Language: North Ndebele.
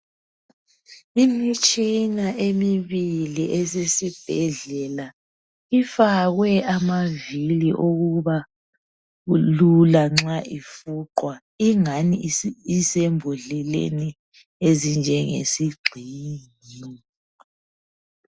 Imitshina emibili esesibhedlela. Ifakwe amavili okuba lula nxa ifuqwa ingani isembodleleni ezinjengesigxingi.